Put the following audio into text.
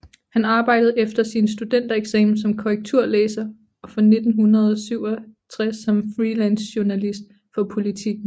Han arbejdede efter sin studentereksamen som korrekturlæser og fra 1967 som freelancejournalist for Politiken